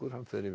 fer yfir